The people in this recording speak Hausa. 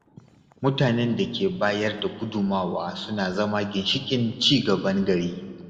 Mutanen da ke bayar da gudummawa suna zama ginshiƙan ci gaban gari.